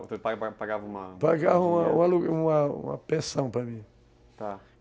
Você pa pagava uma uma... Pagava uma pensão para mim. Tá.